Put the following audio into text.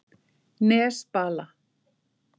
Nesbala